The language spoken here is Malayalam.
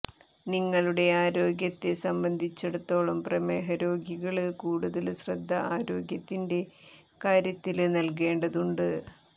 നിങ്ങളുടെ ആരോഗ്യത്തെ സംബന്ധിച്ചിടത്തോളം പ്രമേഹ രോഗികള് കൂടുതല് ശ്രദ്ധ ആരോഗ്യത്തിന്റെ കാര്യത്തില് നല്കേണ്ടതുണ്ട്